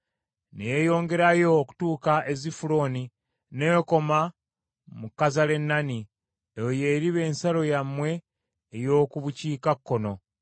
ne yeeyongerayo okutuuka e Zifuloni, n’ekoma mu Kazalenooni. Eyo y’eriba ensalo yammwe ey’oku bukiikakkono.